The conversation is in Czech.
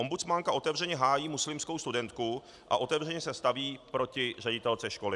Ombudsmanka otevřeně hájí muslimskou studentku a otevřeně se staví proti ředitelce školy.